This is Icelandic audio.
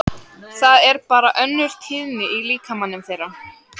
Það er bara önnur tíðni í líkamanum þeirra.